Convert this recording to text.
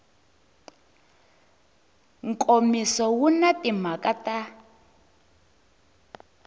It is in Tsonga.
nkomiso wu na timhaka ta